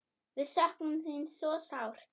Við söknum þín svo sárt.